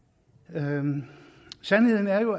sandheden sandheden er jo